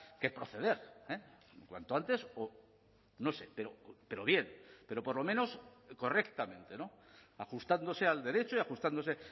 que proceder cuanto antes o no sé pero bien pero por lo menos correctamente ajustándose al derecho y ajustándose